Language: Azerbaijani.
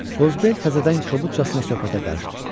Qozbel təzədən kobudcasına söhbətə qarışdı.